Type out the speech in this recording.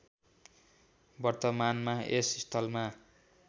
वर्तमानमा यस स्थलमा